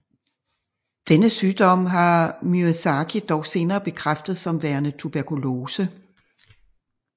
Denne sygdom har Miyazaki dog senere bekræftet som værende tuberkulose